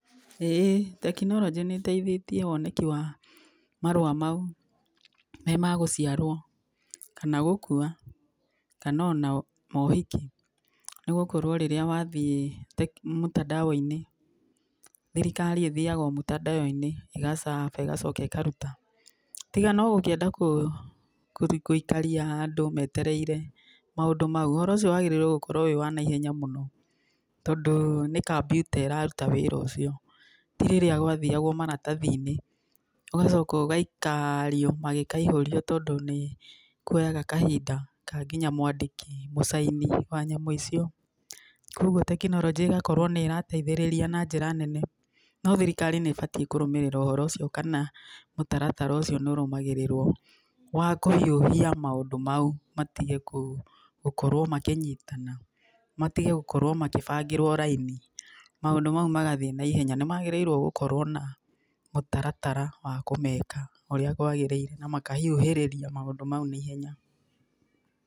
Ĩ tekinoronjĩ nĩteithĩtie, woneki wa, marũa mau, nĩ ma gũciarwo, kana gũkua, kanona mohiki, nĩgũkorwo rĩrĩa wathiĩ teki mũtandao-inĩ, thirikari ĩthiaga o mũtandao-inĩ, ĩgacaba, ĩgacoka ĩkaruta, tiga no ũngĩenda kũ kũthiĩ kũikaria andũ metereire, maũndũ mao ũhoro ũcio wagĩrĩirwo gũkorwo wĩ wa naihenya mũno, tondũ, nĩ kambiuta ĩraruta wĩra ũcio, ti rĩrĩa gwathiagwo maratathi-inĩ, ũgacoka ũgaikario, magĩkaihũrio tondũ, níkũraga kahinda ka nginya mwandĩki, mũcaĩni wa nyamũ icio, koguo tekinoronjĩ ĩgakorwo nĩrateithĩrĩria na njĩra nene, no thirikari nĩbatiĩ kũrũmĩrĩra ũhoro ũcio kana, mũtaratara ũcio nĩũrũmagĩrĩrwo, wa kũhiũhia maũndũ mau, matige kũ, gũkorwo makĩnyitana, matige gũkorwo magĩbangĩrwo raini, maũndũ mau magathiĩ naihenya, nĩmagĩrĩirwo gũkorwo na mũtaratara wa kũmeka ũrĩa kwagĩrĩire na makahiũhĩrĩria maũndũ mau naihenya.